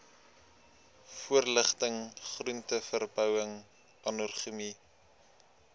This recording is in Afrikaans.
voorligting groenteverbouing agronomie